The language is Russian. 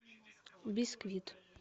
бисквит